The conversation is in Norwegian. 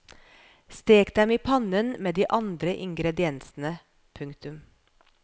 Stek dem i pannen med de andre ingrediensene. punktum